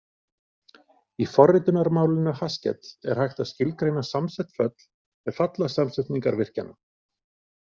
Í forritunarmálinu Haskell er hægt að skilgreina samsett föll með fallasamsetningarvirkjanum.